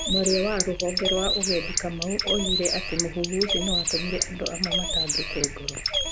Mwaria wa rũhonge rwa ũgendi , Kamau, oigire atĩ mũhuhu ũcio nĩ watũmire andũ amwe matangĩke ngoro.